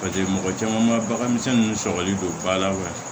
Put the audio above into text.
mɔgɔ caman ma bagan misɛnnin ninnu sɔgɔli don ba la